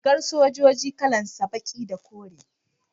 rigar sojoji kalan sa baki da kore